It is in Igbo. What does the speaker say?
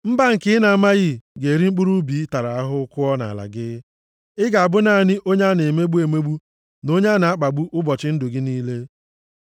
Mba nke ị na-amaghị ga-eri mkpụrụ ubi ị tara ahụhụ kụọ nʼala gị. Ị ga-abụ naanị onye a na-emegbu emegbu na onye a na-akpagbu ụbọchị ndụ gị niile.